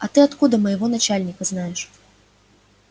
а ты откуда моего начальника знаешь